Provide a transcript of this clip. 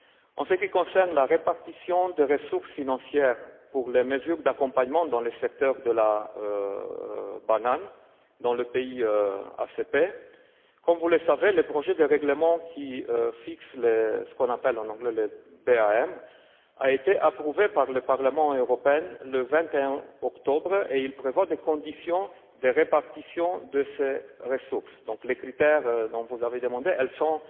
En ce qui concerne la répartition des ressources financières pour les mesures d'accompagnement dans le secteur de la banane dans les pays ACP, comme vous le savez, le projet de règlement qui fixe ce qu'on appelle en anglais le BAM a été approuvé par le Parlement européen le 21 octobre et il prévoit des conditions de répartition de ces ressources. Donc, les critères que vous avez demandés existent